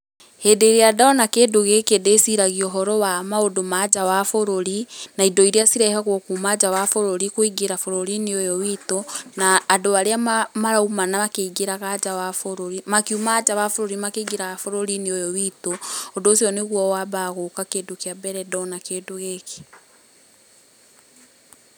Hĩndĩ ĩrĩa ndona kĩndũ gĩkĩ ndĩciragia ũhoro wa maũndũ ma nja wa bũrũri, na indo iria cirehagwo kuma nja wa bũrũri kũingĩra bũrũri-inĩ ũyũ witũ, na, andũ arĩa marauma makĩingagĩra nja wa bũrũri, makiuma nja wa bũrũri makĩingĩraga bũrũri-inĩ ũyũ witũ, Ũndũ ũcio nĩguo wambaga gũka kĩndũ kĩa mbere ndona kĩndũ gĩkĩ.